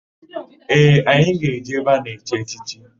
Ee, anyị ga-eje ebe a na-echi echichi.